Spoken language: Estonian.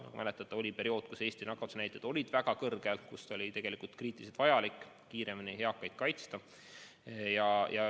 Nagu mäletate, oli periood, kui Eesti nakatumisnäitajad olid väga kõrged ja kui oli kriitiliselt vajalik kiiremini eakaid kaitsta.